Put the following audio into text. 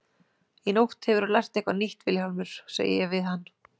Í nótt hefurðu lært eitthvað nýtt Vilhjálmur, segi ég við hann.